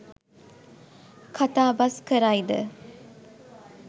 කතාබස් කරයි ද